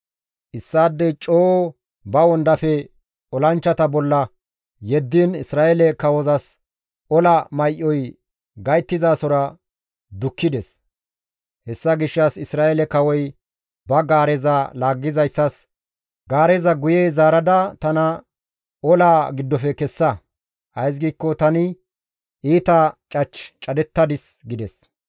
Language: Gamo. Issaadey coo ba wondafe olanchchata bolla yeddiin Isra7eele kawozas ola may7oy gayttizasora dukkides; hessa gishshas Isra7eele kawoy ba gaareza laaggizayssas, «Gaareza guye zaarada tana olaa giddofe kessa; ays giikko tani iita cach cadettadis» gides.